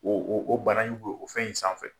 O o bana b'o o fɛn in sanfɛ.